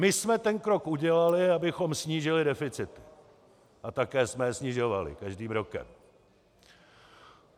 My jsme ten krok udělali, abychom snížili deficit, a také jsme je snižovali každým rokem.